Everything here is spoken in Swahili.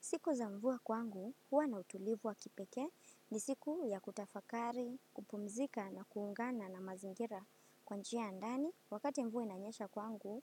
Siku za mvua kwangu, huwa na utulivu wa kipekee ni siku ya kutafakari, kupumzika na kuungana na mazingira kwa njia ya ndani. Wakati mvua inanyesha kwangu,